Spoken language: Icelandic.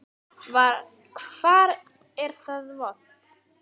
Hvar er það vont?